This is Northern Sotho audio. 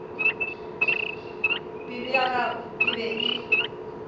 pelo ya gagwe e be